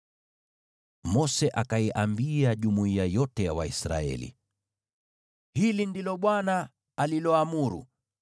Mose akaiambia jumuiya yote ya Waisraeli, “Hili ndilo Bwana aliloamuru: